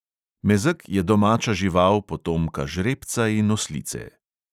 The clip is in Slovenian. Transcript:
Mezeg je domača žival, potomka žrebca in oslice.